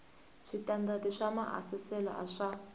switandati swa maasesele a swa